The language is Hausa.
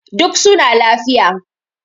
duk suna lafiya